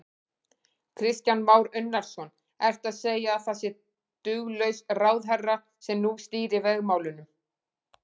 Kristján Már Unnarsson: Ertu að segja að það sé duglaus ráðherra sem nú stýrir vegamálunum?